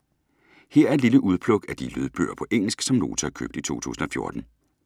Her er et lille udpluk af de lydbøger på engelsk, som Nota har købt i 2014.